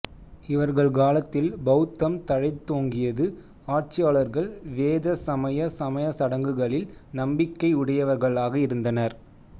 இவர்கள் காலத்தில் பௌத்தம் தழைத்தோங்கியது ஆட்சியாளர்கள் வேத சமய சமயசடங்குகளில் நம்பிக்கை உடையவர்களாக இருந்தனர்